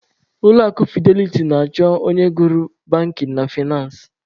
Ulọ akụ fideliti na-achọ onye gụrụ bankin na faịnansị.